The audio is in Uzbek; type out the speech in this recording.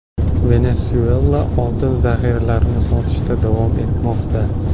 Venesuela oltin zahiralarini sotishda davom etmoqda.